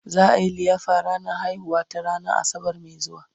za'a Yi liyafar ranar haihuwar ta ranan asabar Mai zuwa